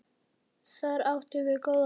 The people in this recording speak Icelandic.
Þar áttum við góða daga.